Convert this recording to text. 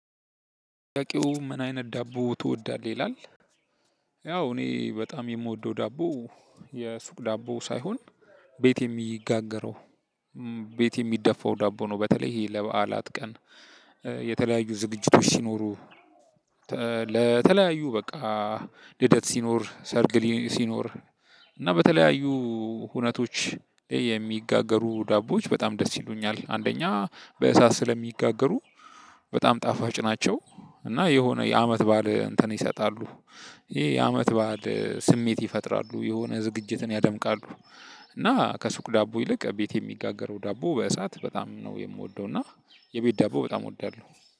ጥያቄው ምን አይነት ዳቦ ትወዳለህ ይላል? ያው እኔ በጣም የምወደው ዳቦ የሱቅ ዳቦ ሳይሆን ቤት የሚጋገረው ቤት የሚደፋው ዳቦ ነው። በተለይ ይሄ ለበዓላት ቀን የተለያዩ ዝግጅቶች ሲኖሩ ለተለያዩ በቃ ልደት ሲኖር ሰርግ ሲኖር እና በተለያዩ ሁነቶች የሚጋገሩ ዳቦዎች በጣም ደስ ይሉኛል። አንደኛ በእሳት ስለሚጋገሩ በጣም ጣፋጭ ናቸው። እና የሆነ የአመት በዓል እንትን ይሰጣሉ። ይሄ የአመት በዓል ስሜት ይፈጥራሉ የሆነ ዝግጅትን ያደምቃሉ። እና ከሱቅ ዳቦ ይልቅ ቤት የሚጋገረው ዳቦ በእሳት በጣም ነው የምወደው እና የቤት ዳቦ በጣም እወዳለሁ።